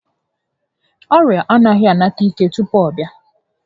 Ọrịa anaghị a nata ike tupu ọ bịa